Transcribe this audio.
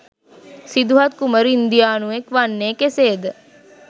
සිදුහත් කුමරු ඉන්දියානුවෙක් වන්නේ කෙසේද?